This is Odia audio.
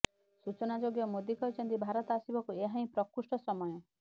ସୂଚନାଯୋଗ୍ୟ ମୋଦୀ କହିଛନ୍ତି ଭାରତ ଆସିବାକୁ ଏହା ହିଁ ପ୍ରକୃଷ୍ଟ ସମୟ